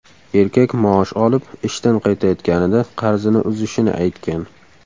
Erkak maosh olib, ishdan qaytayotganida qarzini uzishini aytgan.